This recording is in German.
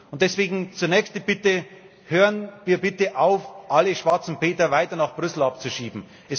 Und deswegen zunächst die Bitte Hören wir bitte auf, alle schwarzen Peter weiter nach Brüssel abzuschieben!